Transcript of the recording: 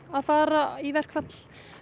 að fara í verkfall